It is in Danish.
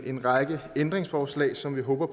en række ændringsforslag som vi håber